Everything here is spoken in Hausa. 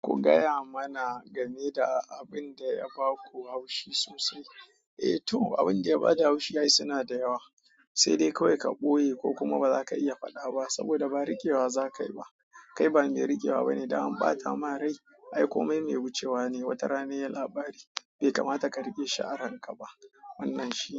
Ku gaya mana game da abin da ya ba ku haushi sosai. Eh to abin da ya bada haushi ai suna da yawa, sai dai kawai ka ɓoye ko kuma baza ka iya faɗa ba saboda ba rigewa za ka yi ba. Kai ba me rigewa bane idan an bata ma rai. Ai komai me wucewa ne, wata rana sai labari bai kamata ka rike shi aranka ba. Wannan shi ne.